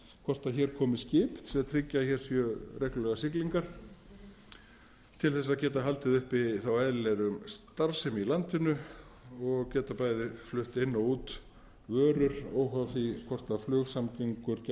hvort hér komi skip sem tryggja að hér séu reglulegar siglingar til þess að geta haldið uppi eðlilegri starfsemi í landinu og geta bæði flutt inn og út vörur óháð því hvort flugsamgöngur gætu